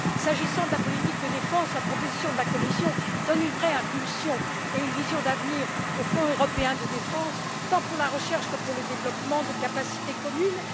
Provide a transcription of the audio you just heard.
S'agissant de la politique de défense, la proposition de la Commission donne une vraie impulsion et une vision d'avenir au Fonds européen de la défense, tant pour la recherche que pour le développement de capacités communes.